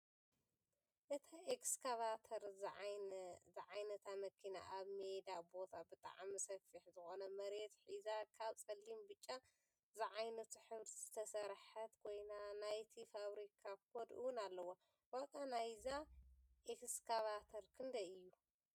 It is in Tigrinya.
እታ ኤክስካቫተር ዝዓይነታ መኪና ኣብ ሜዳ ቦታ ብጣዕሚ ሰፊሕ ዝኾነ መሬት ሒዛ ካብ ፀሊምን ብጫን ዝዓይነቱ ሕብሪ ዝተስሰርሐት ኮይና ናይቲ ፋብሪካ ኮድ እውን ኣለዋ፡፡ ዋጋ ናይዛ ኤክስካቫተር ክንደይ እዩ?